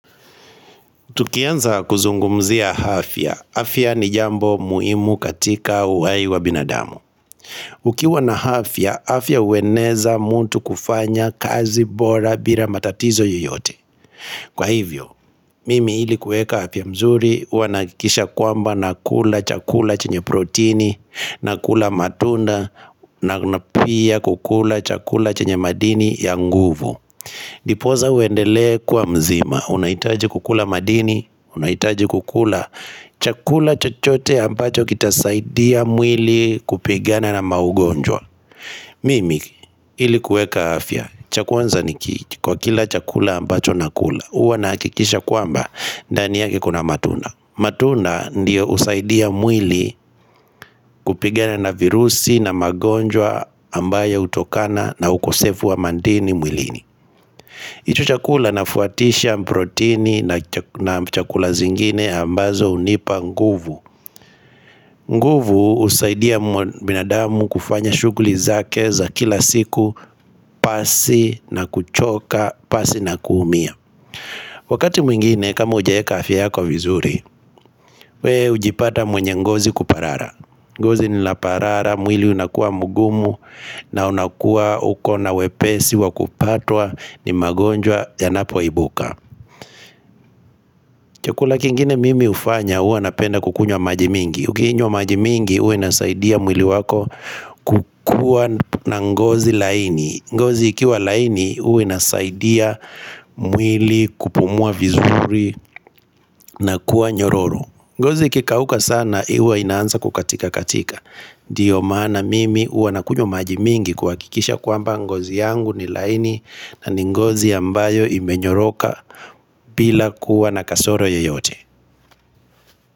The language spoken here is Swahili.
Tukianza kuzungumzia afya, afya ni jambo muhimu katika uhai wa binadamu Ukiwa na afya, afya ueneza mtu kufanya kazi bora bila matatizo yeyote Kwa hivyo, mimi ilikuweka afya mzuri, huanakisha kwamba na kula chakula chenye protini, na kula matunda, na napia kukula chakula chenye madini ya nguvu Niposa uendele kuwa mzima, unahitaji kukula madini, unaitaji kukula chakula chochote ambacho kitasaidia mwili kupigana na maugonjwa. Mimi ilikuweka afya, chakuanza nikichi kwa kila chakula ambacho nakula, huwa nakikisha kuamba dani yake kuna matunda. Matunda ndio husaidia mwili kupigana na virusi na magonjwa ambayo hutokana na ukosefu wa mandini mwilini. Hicho chakula nafuatisha proteini na chakula zingine ambazo hunipa nguvu nguvu husaidia binadamu kufanya shuguli zake za kila siku pasi na kuchoka, pasi na kuumia Wakati mwingine kama ujawe afya yako vizuri We hujipata mwenye ngozi kuparara ngozi linaparara, mwili unakua mugumu na unakua uko na wepesi wakupatwa ni magonjwa ya napo ibuka Chukula kingine mimi hufanya huwa napenda kukunywa maji mingi. Ukinywa maji mingi huwa inasaidia mwili wako kukua na ngozi laini. Ngozi ikiwa laini huwa inasaidia mwili kupumua vizuri na kuwa nyororo. Ngozi kikauka sana huwa inanza kukatika katika. Ndio maana mimi huwanakunywa maji mingi kwa kikisha kwamba ngozi yangu ni laini na ni ngozi ambayo imenyoroka bila kuwa na kasoro yeyote.